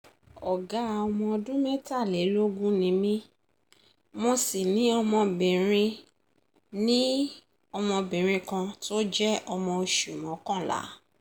ọ̀gá ọmọ ọdún mẹ́tàlélógún ni mí mo sì ní ọmọbìnrin ní ọmọbìnrin kan tó jẹ́ ọmọ oṣù mọ́kànlá